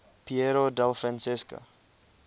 piero della francesca